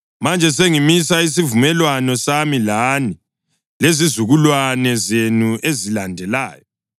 “Manje sengimisa isivumelwano sami lani lezizukulwane zenu ezilandelayo